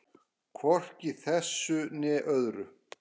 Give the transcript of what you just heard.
Hvorki í þessari né öðrum.